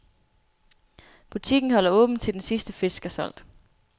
Butikken holder åbent, til den sidste fisk er solgt.